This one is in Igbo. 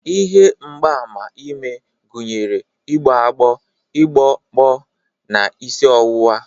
Ihe mgbaàmà ime gụnyere igbo agbo, ọgbụgbọ, na isi ọwụwa.